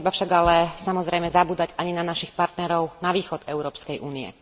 Netreba však ale samozrejme zabúdať ani na našich partnerov na východ od Európskej únie.